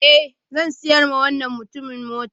Eh, zan sayar wa wannan mutumin motar